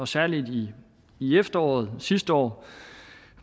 særlig i efteråret sidste år